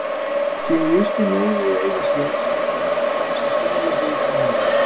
Sé jurtin lögð við auga sér maður þann sem stolið hefur frá manni.